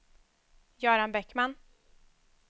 Göran Bäckman